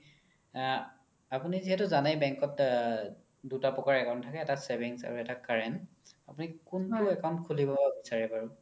আ আপোনি যিহেতু জানেই bank ত আ দুটা প্ৰকাৰ account থাকে এটা savings আৰু এটা current আপোনি কুন্তু account খুলিব বিচাৰে বাৰু